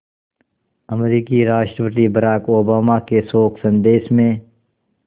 अमरीकी राष्ट्रपति Barack Obama के शोक संदेश में